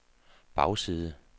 bagside